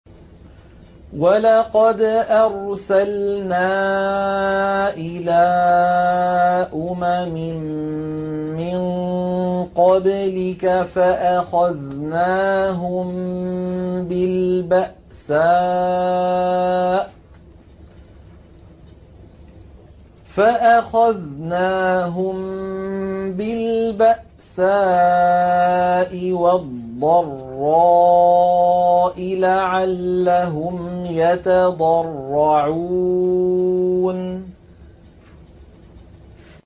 وَلَقَدْ أَرْسَلْنَا إِلَىٰ أُمَمٍ مِّن قَبْلِكَ فَأَخَذْنَاهُم بِالْبَأْسَاءِ وَالضَّرَّاءِ لَعَلَّهُمْ يَتَضَرَّعُونَ